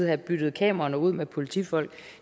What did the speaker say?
have byttet kameraerne ud med politifolk